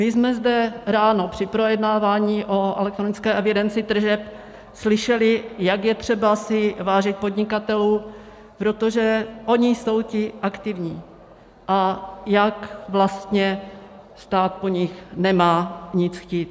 My jsme zde ráno při projednávání o elektronické evidenci tržeb slyšeli, jak je třeba vážit si podnikatelů, protože oni jsou ti aktivní, a jak vlastně stát po nich nemá nic chtít.